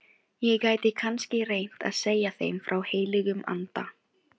Ég gæti kannski reynt að segja þeim frá Heilögum Anda.